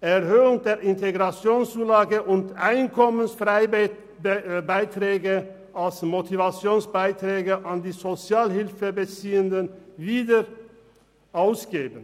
Erhöhung der Integrationszulage und Einkommensfreibeträge als Motivationsbeiträge an die Sozialhilfebeziehenden wieder ausgeben.